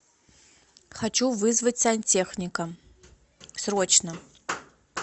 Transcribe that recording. хочу вызвать сантехника срочно